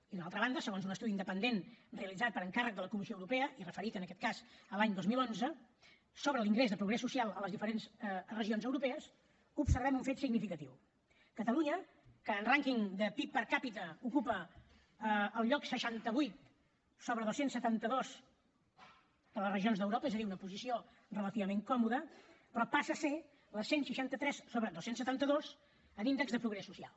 i de l’altra banda segons un estudi independent realitzat per encàrrec de la comissió europea i referit en aquest cas a l’any dos mil onze sobre l’índex de progrés social a les diferents regions europees observem un fet significatiu catalunya que en rànquing de pib per capita ocupa el lloc seixanta vuit sobre dos cents i setanta dos de les regions d’europa és a dir una posició relativament còmoda passa a ser la cent i seixanta tres sobre dos cents i setanta dos en índex de progrés social